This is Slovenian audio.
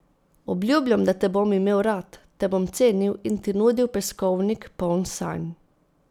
Obljubljam, da te bom imel rad, te bom cenil in ti nudil peskovnik, poln sanj.